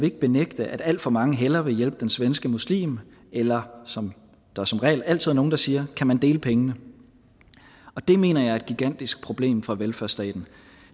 ikke benægte at alt for mange hellere vil hjælpe den svenske muslim eller som der som regel altid er nogle der siger kan man dele pengene det mener jeg er et gigantisk problem for velfærdsstaten